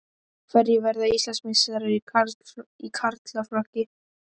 Hverjir verða Íslandsmeistarar í karlaflokki?